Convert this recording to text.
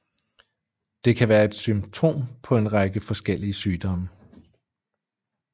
Det kan være symptom på en række forskellige sygdomme